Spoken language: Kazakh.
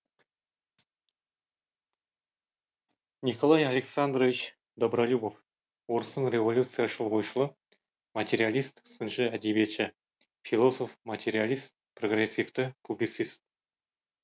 николай александрович добролюбов орыстың революцияшыл ойшылы материалист сыншы әдебиетші философ материалист прогрессивті публицист